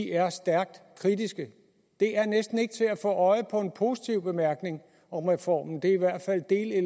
er stærkt kritiske det er næsten ikke til at få øje på en positiv bemærkning om reformen det